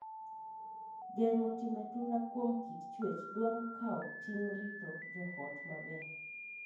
Geng’o timbe tura kuom kit chuech dwaro kawo ting’ rito joot maber.